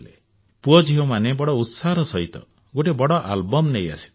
ପୁଅ ଝିଅ ମୋତେ ବଡ ଉତ୍ସାହର ସହିତ ଗୋଟିଏ ବଡ ଆଲବମ୍ ନେଇ ଆସିଥିଲେ